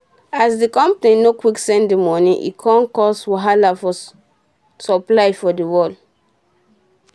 as d company nor quick send de moni e come cause wahala for supply for d world